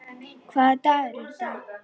Hvaða dagur er í dag?